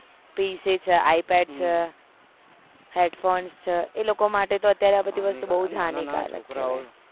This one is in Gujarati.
PCi pad છે headphone છે એ લોકો માટે આ અત્યારે આ બધી વસ્તુ બહુ જ હાનીકાર છે